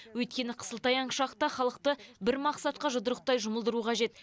өйткені қысылтаяң шақта халықты бір мақсатқа жұдырықтай жұмылдыру қажет